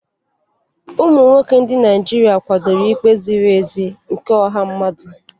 Ụmụ nwoke ndị Naijiria kwadoro ikpe ziri ezi nke ọha mmadụ.